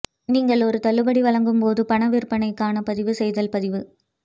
நீங்கள் ஒரு தள்ளுபடி வழங்கும் போது பண விற்பனைக்கான பதிவு செய்தல் பதிவு